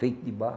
Feito de barro.